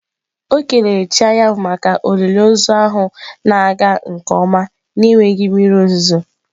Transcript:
O kelere chi anyanwụ maka olili ozu ahụ na-aga nke ọma n'enweghị mmiri ozuzo.